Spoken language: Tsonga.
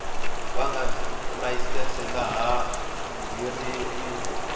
nga ni layisense laha nghingiriko